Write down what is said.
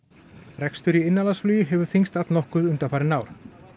rekstur í innanlandsflugi hefur þyngst allnokkuð undanfarin ár